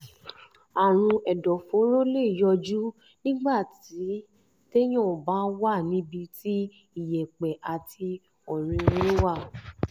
àrùn ẹ̀dọ̀fóró lè yọjú nígbà nígbà téèyàn bá wà níbi tí iyẹ̀pẹ̀ àti ọ̀rinrin wà